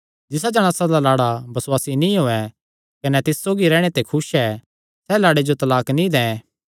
जिसा जणासा दा लाड़ा बसुआसी नीं होयैं कने तिस सौगी रैहणे ते खुस ऐ सैह़ लाड़े जो तलाक नीं दैं